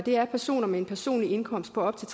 er personer med en personlig indkomst på op til